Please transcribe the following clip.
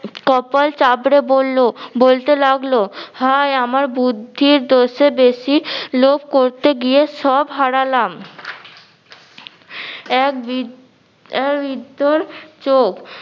কপাল চাপড়ে বললো বলতে লাগলো, হায় আমার বুদ্ধির দোষে বেশি লোভ করতে গিয়ে সব হারালাম। এক বি~ বিদ্দর চোক